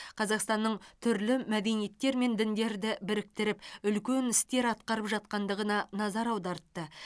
қазақстанның түрлі мәдениеттер мен діндерді біріктіріп үлкен істер атқарып жатқандығына назар аудартты